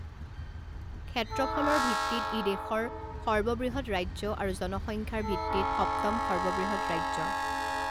ক্ষেত্ৰফলৰ ভিত্তিত ই দেশৰ সৰ্ববৃহৎ ৰাজ্য আৰু জনসংখ্যাৰ ভিত্তিত সপ্তম সৰ্ববৃহৎ ৰাজ্য।